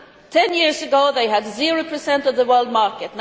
Ten years ago they had zero per cent of the world market.